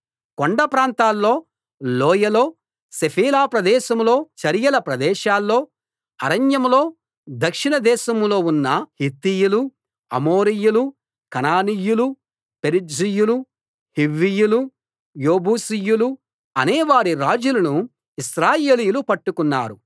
కొండ ప్రాంతాల్లో లోయలో షెఫేలా ప్రదేశంలో చరియల ప్రదేశాల్లో అరణ్యంలో దక్షిణ దేశంలో ఉన్న హిత్తీయులూ అమోరీయులూ కనానీయులూ పెరిజ్జీయులూ హివ్వీయులూ యెబూసీయులూ అనేవారి రాజులను ఇశ్రాయేలీయులు పట్టుకున్నారు